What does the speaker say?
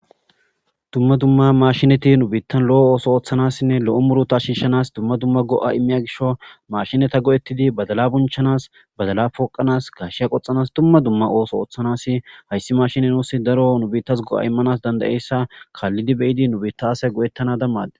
dumma dumma mashinati nubiittan lo7o ooso ooththanassinne lo7o muru ta shiishanas dumma dumma go7a immiya gisho mashineta go7ettidi badala bunchanas badala pooqanas gasheya qoxanas dumma dumma ooso ooththanasi hayssi mashini nuusi daro nubiittas go7a immanas dandayeyssa kaallidi beyidi nubita ase go7ettana dammade